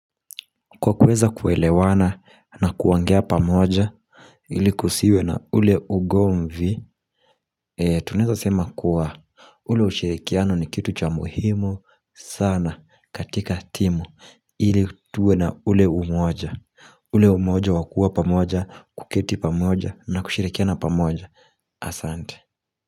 Kwa kuweza kuelewana na kuongea pamoja ili kusiwe na ule ugomvi Tuneza sema kuwa ule ushirikiano ni kitu cha muhimu sana katika timu ili tuwe na ule umoja ule umoja wakua pamoja kuketi pamoja na kushirikiana pamoja Asante.